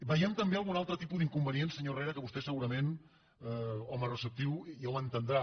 veiem també algun altre tipus d’inconvenient senyor herrera que vostè segurament home receptiu ja ho entendrà